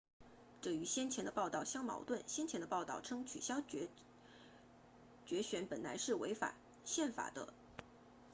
这与先前的报道相矛盾先前的报道称取消决选本来是违反宪法的